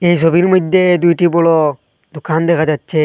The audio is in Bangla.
এই ছবির মইধ্যে দুইটি বড় দোকান দেখা যাচ্ছে।